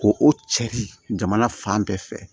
Ko o cari jamana fan bɛɛ fɛ